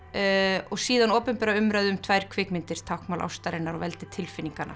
og síðan opinbera umræðu um tvær kvikmyndir táknmál ástarinnar og veldi tilfinninganna